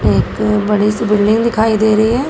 एक बड़ी सी बिल्डिंग दिखाई दे रही है।